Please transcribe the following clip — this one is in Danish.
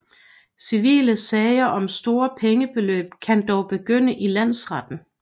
Civile sager om store pengebeløb kan dog begynde i landsretten